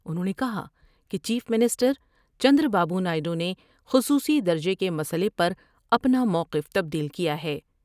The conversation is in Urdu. انہوں نے کہا کہ چیف منسٹر چندر بابو نائیڈو نے خصوصی درجے کے مسئلے پر اپنا موقف تبدیل کیا ہے ۔